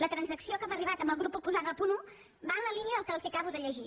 la transacció a què hem arribat amb el grup proposant al punt un va en la línia del que els acabo de llegir